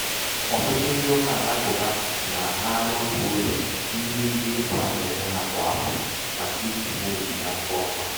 ọ̀̀tụ̀tụ̀ ndị ụkà àlakụ̀ba nà-àhara otù ụzọ̀ n’ime ego efù a nà-ènye hā kwà àfọ̀ màkà kwà àfọ̀ màkà ijì mee ònyìnye afọ ọma